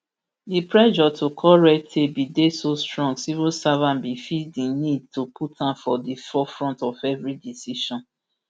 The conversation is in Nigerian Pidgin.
di pressure to cut red tape bin dey so strong civil servants bin feel di need to put am for di forefront of every decision